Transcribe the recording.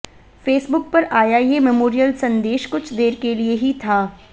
Facebook पर आया ये मेमोरियल संदेश कुछ देर के लिए ही था